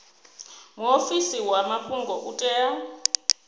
muofisi wa mafhungo u tea